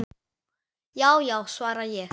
Já já, svara ég.